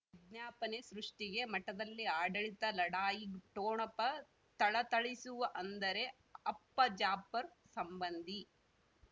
ವಿಜ್ಞಾಪನೆ ಸೃಷ್ಟಿಗೆ ಮಠದಲ್ಲಿ ಆಡಳಿತ ಲಢಾಯಿ ಠೊಣಪ ಥಳಥಳಿಸುವ ಅಂದರೆ ಅಪ್ಪ ಜಾಫರ್ ಸಂಬಂಧಿ